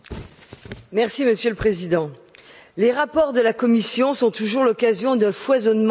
Monsieur le Président, les rapports de la Commission sont toujours l'occasion d'un foisonnement d'euphémismes.